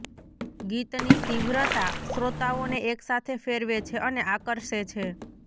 ગીતની તીવ્રતા શ્રોતાઓને એકસાથે ફેરવે છે અને આકર્ષે છે